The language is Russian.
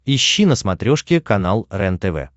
ищи на смотрешке канал рентв